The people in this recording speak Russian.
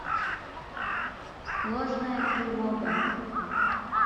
ложная тревога